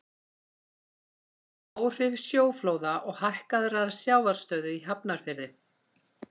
áhrif sjóflóða og hækkaðrar sjávarstöðu í hafnarfirði